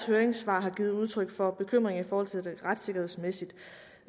høringssvar har givet udtryk for bekymring i forhold til det retssikkerhedsmæssige